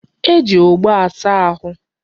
E ji ogbo asa ahụ.